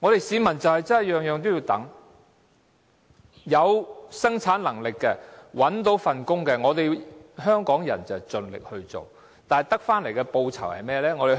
市民真的每件事也要等，有生產能力而又找到工作的，香港人會盡力做，但得到的報酬如何？